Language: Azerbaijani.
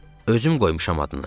Özüm qoymuşam adını.